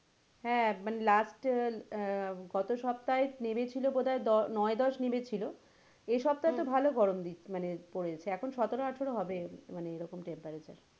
হ্যাঁ মানে last আহ গত সপ্তাহে নেবেছিলো বোধহয় দশ, নয় দশ নেমে ছিল এ সপ্তহাহে তো ভালো গরম দি, মানে, পড়েছে এখন সতেরো আঠেরো হবে মানে এরকম temperature